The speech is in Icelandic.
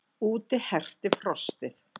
Úti herti frostið.